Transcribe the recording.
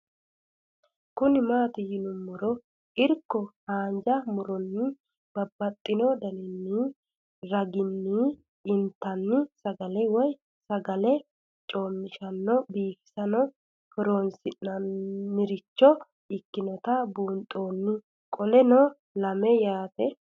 Kuni mati yinumoha ikiro hanja muroni babaxino daninina ragini intani sagale woyi sagali comishatenna bifisate horonsine'morich ikinota bunxana qoleno lame yaate